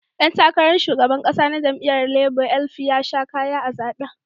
Dan takarar shugaban kasa na jam'iyyar Labour (LP) ya sha kaya a zaben.